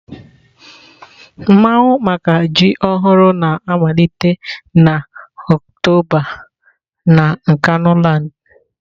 Mmawu maka ji ọhụrụ na-amalite na Oktoba na Nkanuland.